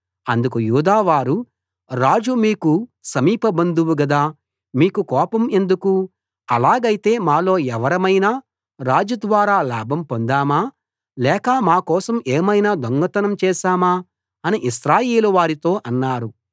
అందుకు యూదా వారు రాజు మీకు సమీపబంధువు గదా మీకు కోపం ఎందుకు అలాగైతే మాలో ఎవరమైనా రాజు ద్వారా లాభం పొందామా లేక మాకోసం ఏమైనా దొంగతనం చేశామా అని ఇశ్రాయేలు వారితో అన్నారు